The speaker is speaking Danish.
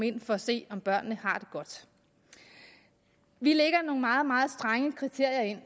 ind for at se om børnene har det godt vi lægger nogle meget meget strenge kriterier ind